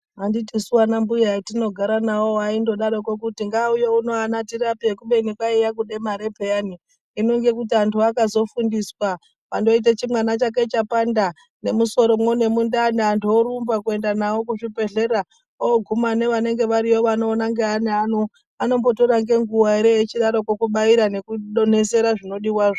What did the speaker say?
Anditisu anambuya etinogara nawo aindodaroko kuti ngaauye uno ana tirape kubeni kwaiye kuda mare peyani, hino ngekuti anhu akazofundiswa wandoite chimwana chake chapanda nemusomwo nemundani antu orumba kuenda nawo kuzvibhedhlera oguma nevanenge variyo vanoona ngeana vano anombotora ngenguwa ere echidako kubaira nekudonhesera zvinodiwazvo.